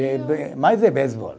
Mais é beisebol